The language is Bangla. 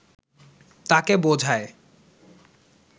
তাকে বোঝায়